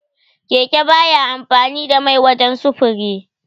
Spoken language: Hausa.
Keke baya amfani da mai wajan sufuri.